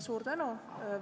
Suur tänu!